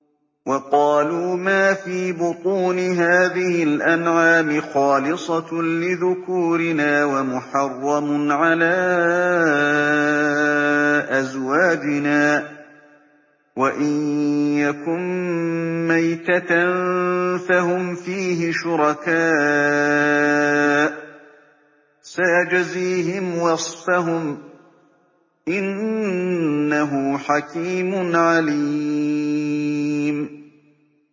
وَقَالُوا مَا فِي بُطُونِ هَٰذِهِ الْأَنْعَامِ خَالِصَةٌ لِّذُكُورِنَا وَمُحَرَّمٌ عَلَىٰ أَزْوَاجِنَا ۖ وَإِن يَكُن مَّيْتَةً فَهُمْ فِيهِ شُرَكَاءُ ۚ سَيَجْزِيهِمْ وَصْفَهُمْ ۚ إِنَّهُ حَكِيمٌ عَلِيمٌ